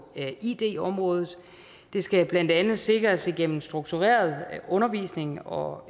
id området det skal blandt andet sikres igennem struktureret undervisning og